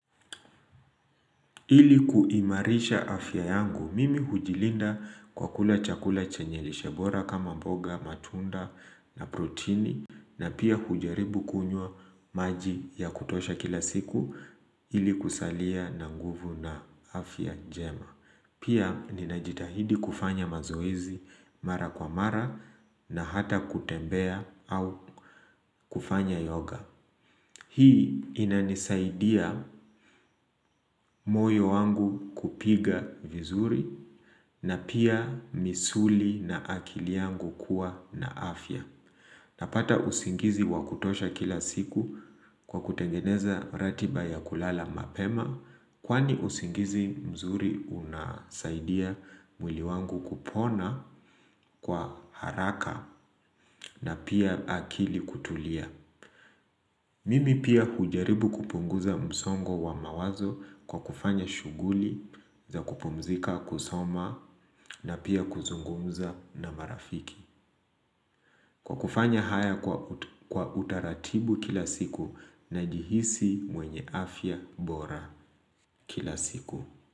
Ili kuimarisha afya yangu mimi hujilinda kwa kula chakula chenye lishebora kama mboga matunda na protini na pia hujaribu kunywa maji ya kutosha kila siku ili kusalia na nguvu na afya jema. Pia ninajitahidi kufanya mazoezi mara kwa mara na hata kutembea au kufanya yoga. Hii inanisaidia moyo wangu kupiga vizuri na pia misuli na akili yangu kuwa na afya. Napata usingizi wa kutosha kila siku kwa kutengeneza ratiba ya kulala mapema kwani usingizi mzuri unasaidia mwili wangu kupona kwa haraka na pia akili kutulia. Mimi pia hujaribu kupunguza msongo wa mawazo kwa kufanya shughuli za kupumzika kusoma na pia kuzungumza na marafiki. Kwa kufanya haya kwa utaratibu kila siku na jihisi mwenye afya bora kila siku.